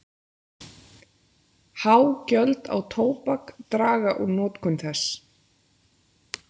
Há gjöld á tóbak draga úr notkun þess.